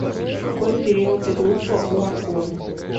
какой период и группа у аргон